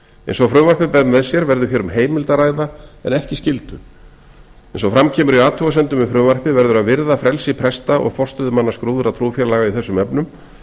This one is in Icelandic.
eins og frumvarpið ber með sér verður hér um heimild að ræða en ekki skyldu eins og fram kemur í athugasemdum við frumvarpið verður að virða frelsi presta og forstöðumanna skráðra trúfélaga í þessum efnum